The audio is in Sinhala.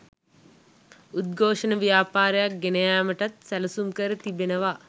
උද්ඝෝෂණ ව්‍යාපාරයක්‌ ගෙන යාමටත් සැලසුම්කර තිබෙනවා